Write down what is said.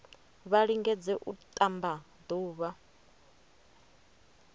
vha lingedze u ṱamba ḓuvha